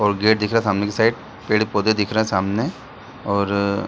और गेट दिख रहा सामने के साइड पेड़-पौधे दिख रहे हैं सामने और --